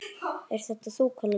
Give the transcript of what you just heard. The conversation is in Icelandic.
Ert þetta þú, Kalli minn!